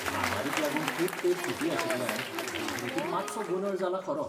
म्हामारीक लागून खूब तेंप सुटी आशिल्ल्यान देखरेखींत मात्सो गोंदळ जाला खरो.